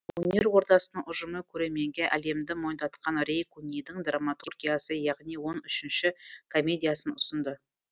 өнер ордасының ұжымы көрерменге әлемді мойындатқан рей кунидің драматургиясы яғни он үшіншіші комедиясын ұсынды